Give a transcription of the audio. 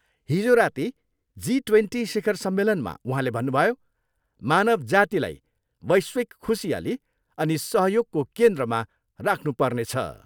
हिजो राति G twenty शिखर सम्मेलनमा उहाँले भन्नुभयो, मानव जातिलाई वैश्विक खुसियाली अनि सहयोगको केन्द्रमा राख्नु पर्नेछ।